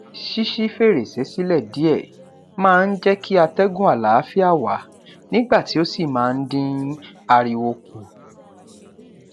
ṣíṣí fèrèsé sílẹ diẹ máa n jékí atégùn àláfíà wà nígbà tí o sí máa n dín ariwo kù